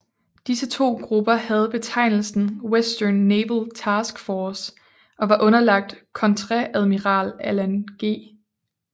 Disse to grupper havde betegnelsen Western Naval Task Force og var underlagt Kontreadmiral Alan G